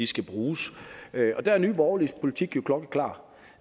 skal bruges og der er nye borgerliges politik jo klokkeklar